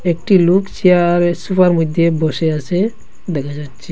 একটি লুক চেয়ার ওই সোফার মইধ্যে বসে আসে দেখা যাচ্ছে।